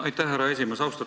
Aitäh, härra esimees!